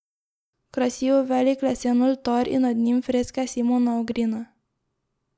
Krasi jo velik lesen oltar in nad njim freske Simona Ogrina.